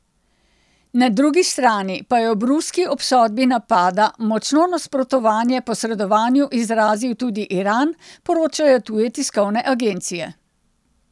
Na drugi strani pa je ob ruski obsodbi napada močno nasprotovanje posredovanju izrazil tudi Iran, poročajo tuje tiskovne agencije.